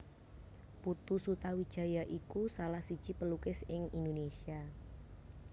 Putu Sutawijaya iku salah siji pelukis ing Indonesia